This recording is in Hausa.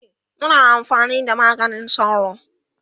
e Muna amfani da maganin sauro